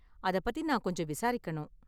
அத பத்தி நான் கொஞ்சம் விசாரிக்கணும்.